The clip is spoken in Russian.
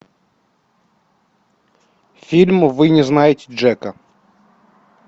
фильм вы не знаете джека